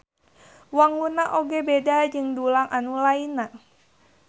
Wangunna oge beda jeung dulang anu lainna